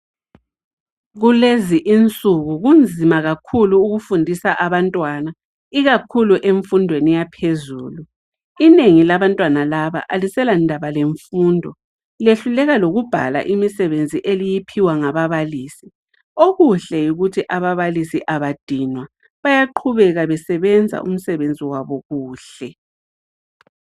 Kulezi insuku kunzima kakhulu ukufundisa abantwana ikakhulu emfundweni yaphezulu. Inengi labantwana laba aliselandaba lemfundo, lehluleka lokubhala imisebenzi eliyiphiwa ngababalisi. Okuhle yikuthi ababalisi abadinwa, bayaqhubeka besebenza umsebenzi wabo kuhle.